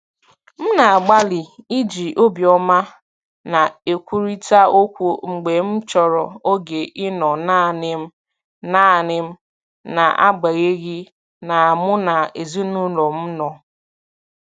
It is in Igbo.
M na-agbalị iji obiọma na-ekwurịta okwu mgbe m chọrọ oge ịnọ naanị m naanị m n’agbanyeghị na mụ na ezinụlọ m nọ.